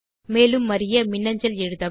மேலும் அறிய மின்னஞ்சல் எழுதவும்